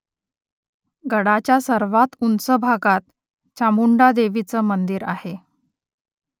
गडाच्या सर्वात उंच भागात चामुंडा देवीचं मंदिर आहे